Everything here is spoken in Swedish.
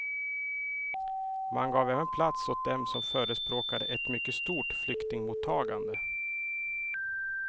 Man gav även plats åt dem som förespråkade ett mycket stort flyktingmottagande.